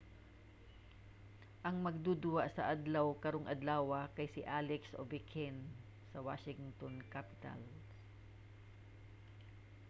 ang magduduwa sa adlaw karong adlawa kay si alex ovechkin sa washington capitals